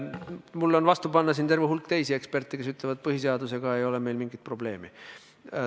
Mul on vastu panna terve hulk teisi eksperte, kes ütlevad, et põhiseadusega ei ole eelnõul mingit probleemi.